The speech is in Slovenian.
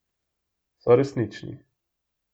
So resnični.